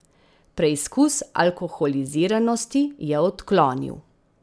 Preizkus alkoholiziranosti je odklonil.